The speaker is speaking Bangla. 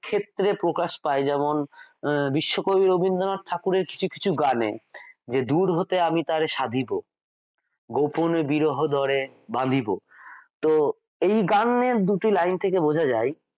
ক্ষেত্রে প্রকাশ পাই যেমন আহ বিশ্ব কবি রবীন্দ্রনাথ ঠাকুরের কিছু কিছু গানে যে দূর হতে আমি তারে সাধিব গোপনে বিরহ ডোরে বাঁধিব তো এই গানের দুটি লাইন থেকে বোঝা যায়,